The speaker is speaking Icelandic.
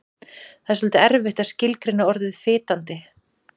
Það er svolítið erfitt að skilgreina orðið fitandi.